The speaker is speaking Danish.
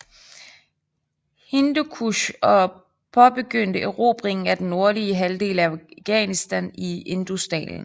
Hindukush og påbegyndte erobringen af den nordlige halvdel af Afghanistan og Indusdalen